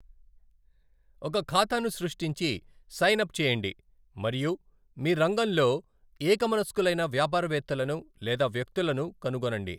ఒక ఖాతాను సృష్టించి సైన్ అప్ చేయండి మరియు మీ రంగంలో ఏక మనస్కులైన వ్యాపారవేత్తలను లేదా వ్యక్తులను కనుగొనండి.